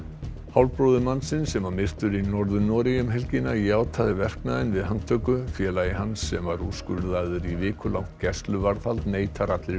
hálfbróðir mannsins sem var myrtur í Norður Noregi um helgina játaði verknaðinn við handtöku félagi hans sem var úrskurðaður í vikulangt gæsluvarðhald neitar allri